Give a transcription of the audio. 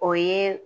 O ye